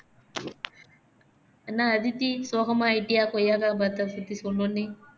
என்ன அதித்தி சோகமா ஆகிட்டியா கொய்யாக்காய் மரத்தபத்தி சொன்னோனே